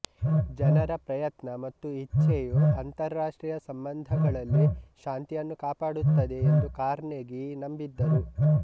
ಜನರ ಪ್ರಯತ್ನ ಮತ್ತು ಇಚ್ಛೆಯು ಅಂತಾರಾಷ್ಟ್ರೀಯ ಸಂಬಂಧಗಳಲ್ಲಿ ಶಾಂತಿಯನ್ನು ಕಾಪಾಡುತ್ತದೆ ಎಂದು ಕಾರ್ನೆಗೀ ನಂಬಿದ್ದರು